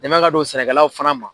Dɛmɛ ka don sɛnɛkɛlaw fana ma.